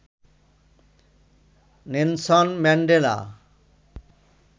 Nelson Mandela